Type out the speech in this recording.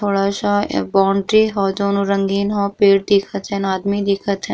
थोड़ा सा अ बाउंड्री ह दोनों रंगीन ह पेड़ दिखत है आदमी दिखत है।